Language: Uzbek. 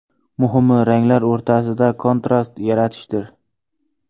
Muhimi, ranglar o‘rtasida kontrast yaratishdir.